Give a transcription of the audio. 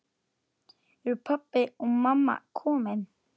Eru pabbi og mamma komin?